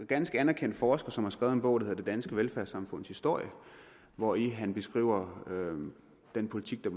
ganske anerkendt forsker som har skrevet en bog der hedder det danske velfærdssamfunds historie hvori han beskriver den politik der